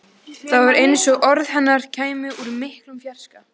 Það var eins og orð hennar kæmu úr miklum fjarska.